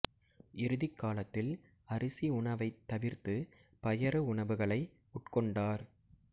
இறுதிக் காலத்தில் அரிசி உணவைத் தவிர்த்து பயறு உணவுகளை உட்கொண்டார்